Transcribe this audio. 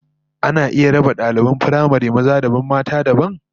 Ana iya raba daliban firamare maza dabam mata dabam?